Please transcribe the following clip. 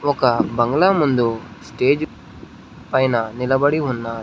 ఒక బంగ్లా ముందు స్టేజ్ పైన నిలబడి ఉన్నారు.